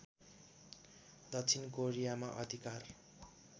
दक्षिण कोरियामा अधिकार